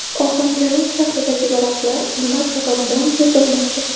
Ohangaron shahridagi daraxtlar nima sababdan kesilmoqda?